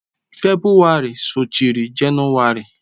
Febụwarị sochiri Jenụwarị.